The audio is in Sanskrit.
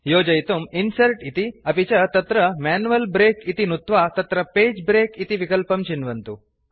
योजयितुं इन्सर्ट् इति अपि च तत्र मैन्युअल् ब्रेक इति नुत्वा तत्र पगे ब्रेक इति विकल्पं चिन्वन्तु